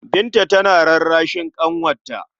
Binta tana rarrashin ƙanwarta.